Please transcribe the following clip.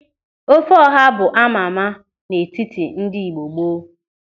Ofe ọha bụ amama n'etiti ndị Igbo gboo.